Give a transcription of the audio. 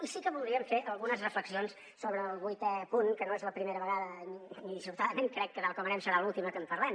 i sí que voldríem fer algunes reflexions sobre el vuitè punt que no és la primera vegada ni dissortadament crec que tal com anem serà l’última que en parlem